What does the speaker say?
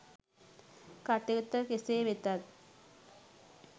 කටයුත්ත කෙසේ වෙතත්